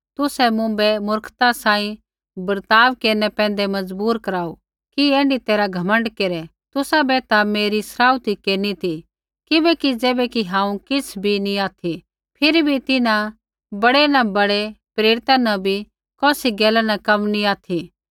तुसै मुँभै मूर्खा सांही बर्ताव केरनै पैंधै मजबूर कराऊ कि ऐण्ढी तैरहा घमण्ड केरै तुसाबै ता मेरी सराउथी केरनी ती किबैकि ज़ैबैकि हांऊँ किछ़ भी नी ऑथि फिरी भी तिन्हां बड़ै न बड़ै प्रेरिता न भी कौसी गैला न कम नी ऑथि